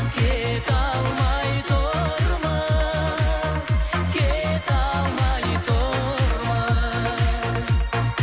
кете алмай тұрмыз кете алмай тұрмыз